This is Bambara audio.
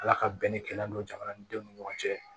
Ala ka bɛn ni kɛlɛ don jamana ni denw ni ɲɔgɔn cɛ